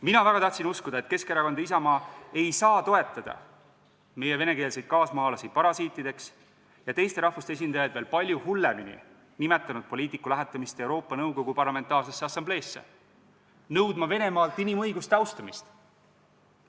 Ma väga tahtsin uskuda, et Keskerakond ja Isamaa ei saa toetada meie venekeelseid kaasmaalasi parasiitideks ja teiste rahvuste esindajaid veel palju hullemini nimetanud poliitiku lähetamist Euroopa Nõukogu Parlamentaarsesse Assambleesse nõudma Venemaalt inimõiguste austamist.